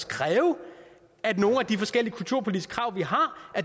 kræve at nogle af de forskellige kulturpolitiske krav vi har